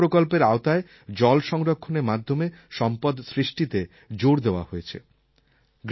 মনরেগা প্রকল্পের আওতায় জল সংরক্ষণের মাধ্যমে সম্পদ সৃষ্টিতে জোর দেওয়া হয়েছে